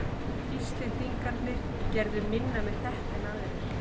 Íslendingarnir gerðu minna með þetta en aðrir.